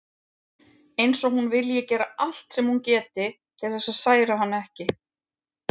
Eins og hún vilji gera allt sem hún geti til þess að særa hann ekki.